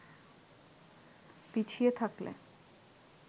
পিছিয়ে থাকলে